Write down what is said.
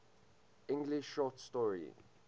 english short story